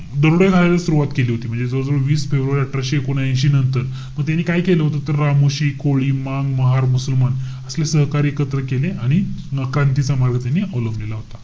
दरोडे घालायला सुरवात केली होती म्हणजे. जवळजवळ वीस फेब्रुवारी अठराशे एकोणऐशी नंतर. म त्यांनी काय केलं होतं. तर रामोशी, कोळी, मांग, महार, मुसलमान असले सहकारी एकत्र केले. आणि क्रांतीचा चा मार्ग त्यांनी अवलंबलेला होता.